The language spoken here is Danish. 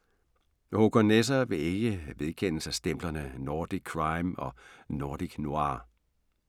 Håkan Nesser vil ikke vedkende sig stemplerne Nordic Crime og Nordic Noir.